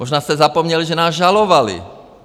Možná jste zapomněli, že nás žalovali.